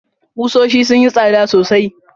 Kusoshin sun yi tsada sosai.